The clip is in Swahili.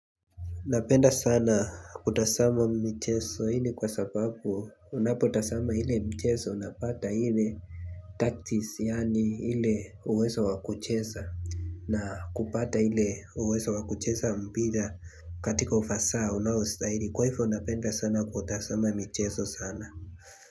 Napenda sana kutazama michezo ile kwa sababu unapotazama ile mchezo, unapata ile tactics yaani ile uwezo wa kucheza na kupata ile uwezo wa kucheza mpira katika ufasaha unaostahili kwahivyo napenda sana kutazama michezo sana.